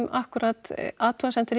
akkúrat athugasemdir